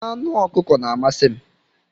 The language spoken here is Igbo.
Anụ ọkụkọ na-amasị m.